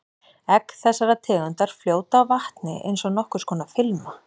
Egg þessarar tegundar fljóta á vatni eins og nokkurs konar filma.